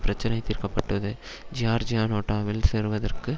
பிரச்சினை தீர்க்கப்படுவது ஜியார்ஜியா நேட்டோவில் சேருவதற்கு